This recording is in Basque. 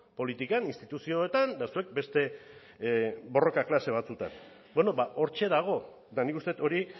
politikan instituzioetan eta zuek beste borroka klase batzuetan hortxe dago eta nik uste dut hori